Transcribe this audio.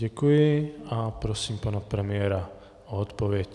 Děkuji a prosím pana premiéra o odpověď.